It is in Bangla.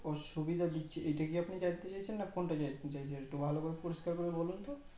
আহ সুবিধে দিচ্ছে এটা কি আপনি জানতে চাইছেন না কোনটা জানতে চাইছেন তো একটু ভালো করে পরিষ্কার করে বলুন তো